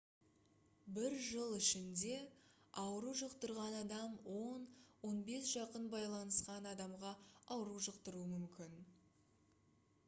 бір жыл ішінде ауру жұқтырған адам 10-15 жақын байланысқан адамға ауру жұқтыруы мүмкін